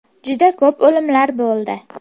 Juda ko‘p o‘limlar bo‘ldi.